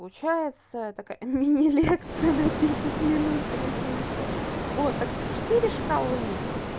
получается такая мини лекция на десять минут блядь вышла вот так что четыре шкалы